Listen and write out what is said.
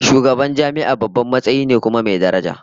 Shugaban jami'a babban matsayi ne kuma mai daraja